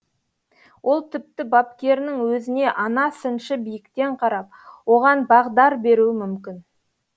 ол тіпті бапкерінің өзіне ана сыншы биіктен қарап оған бағдар беруі мүмкін